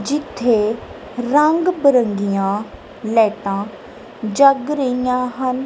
ਜਿੱਥੇ ਰੰਗ ਬਿਰੰਗੀਆਂ ਲਾਈਟਾਂ ਜੱਗ ਰਹੀਆਂ ਹਨ।